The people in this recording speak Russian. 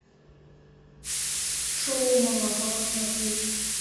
шоу малахова смотреть